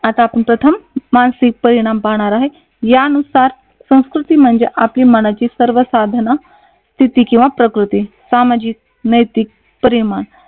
आता आपण प्रथम मानसिक परिनाम पाहणार आहोत. यानुसार संस्कृती म्हणजे आपली मानाची सर्वसाधारण स्थिति किंवा प्रकृती सामाजिक नैतिक परिमाण